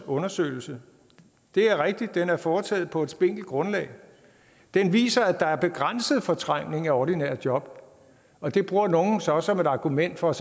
undersøgelse det er rigtigt at den er foretaget på et spinkelt grundlag den viser at der er begrænset fortrængning af ordinære job og det bruger nogle så som et argument for at